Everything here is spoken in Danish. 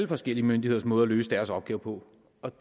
forskellige myndigheders måde at løse deres opgave på